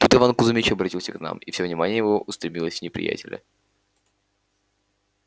тут иван кузмич оборотился к нам и всё внимание его устремилось на неприятеля